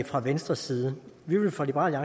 fra venstres side vi vil fra liberal